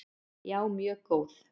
Já, mjög góð.